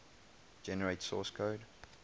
generate source code